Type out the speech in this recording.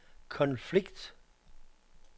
konflikt